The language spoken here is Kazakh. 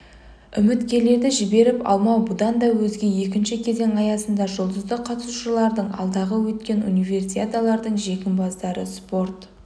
үміткерлерді жіберіп алмау бұдан өзге екінші кезең аясында жұлдызды қатысушылардың алдағы өткен универсиадалардың жеңімпаздары спорт